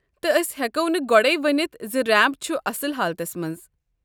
تہٕ اسہِ ہیكو نہٕ گوڈیہ ؤنتھ ز ریمپ چھُ اصل حالتس منٛز۔